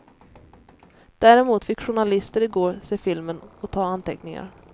Däremot fick journalister i går se filmen och ta anteckningar.